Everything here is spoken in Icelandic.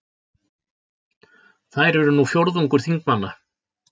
Þær eru nú fjórðungur þingmanna